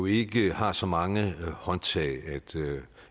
ikke har så mange håndtag